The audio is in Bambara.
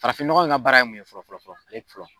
Farafininɲɔgɔn in ka baara ye mun ye fɔlɔ fɔlɔ fɔlɔ fɔlɔ